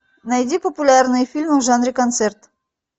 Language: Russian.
найди популярные фильмы в жанре концерт